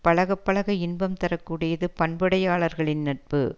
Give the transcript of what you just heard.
பழகப் பழக இன்பம் தர கூடியது பண்புடையாளர்களின் நட்பு